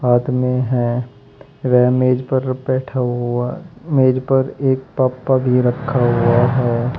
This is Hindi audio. आदमी है वह मेज पर बैठा हुआ मेज पर एक भी रखा हुआ है।